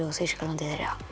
og Þýskaland